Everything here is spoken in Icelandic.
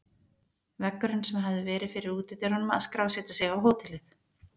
Veggurinn sem hafði verið fyrir útidyrunum að skrásetja sig á hótelið.